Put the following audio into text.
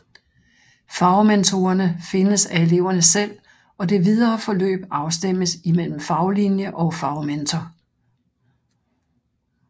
Fagmentorerne findes af eleverne selv og det videre forløb afstemmes i mellem faglinje og fagmentor